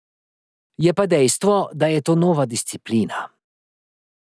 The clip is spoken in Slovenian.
Je pa dejstvo, da je to nova disciplina.